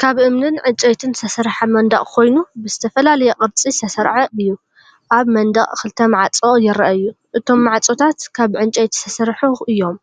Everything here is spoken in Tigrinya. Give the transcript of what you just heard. ካብ እምንን ዕንጨይትን ዝተሰርሐ መንደቕ ኮይኑ፡ ብዝተፈላለየ ቅርጺ ዝተሰርዐ እዩ። ኣብ መንደቕ ክልተ ማዕጾ ይረኣዩ፣ እቶም ማዕጾታት ካብ ዕንጨይቲ ዝተሰርሑ እዮም።